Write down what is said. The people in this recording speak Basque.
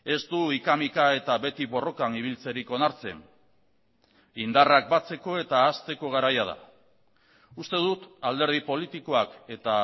ez du hika mika eta beti borrokan ibiltzerik onartzen indarrak batzeko eta hazteko garaia da uste dut alderdi politikoak eta